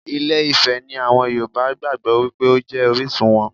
Ilé Ifẹ̀ ni àwọn Yorùbá gbàgbó wípé ó jẹ́ orísun wọn.